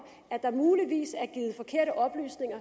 at der muligvis